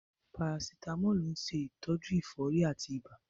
Parasitamọ́ọ̀lù ń ṣe ìtọ́jú ẹ̀fọ́rí àti ibà.